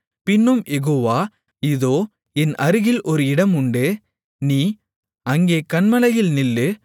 பின்னும் யெகோவா இதோ என் அருகில் ஒரு இடம் உண்டு நீ அங்கே கன்மலையில் நில்லு